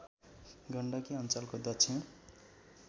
गण्डकी अ‍ञ्चलको दक्षिण